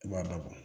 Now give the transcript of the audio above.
I b'a labɔ